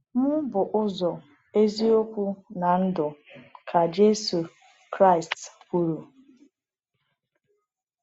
“Mụ bụ ụzọ, eziokwu, na ndụ,” ka Jésù Kraịst kwuru.